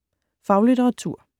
Faglitteratur